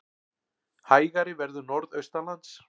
Hægari verður norðaustanlands